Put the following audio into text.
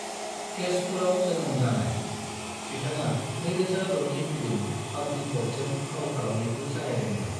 केशपुराव जोनोम जानाय, बिथाङा 2006नि फिल्म अग्निपथजों फाव खलामनायखौ जागायदोंमोन।